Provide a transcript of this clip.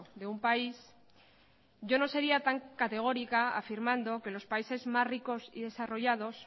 de un país yo no sería tan categórica afirmando que los países más ricos y desarrollados